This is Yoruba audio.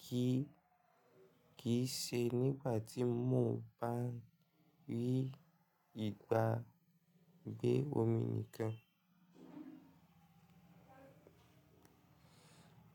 kì í ṣe nígbà tí mo bá rí ìgbà gbé omi nìkan.